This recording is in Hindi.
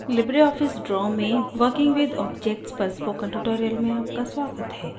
लिबरे ऑफिस draw में working with objects पर spoken tutorial में आपका स्वागत है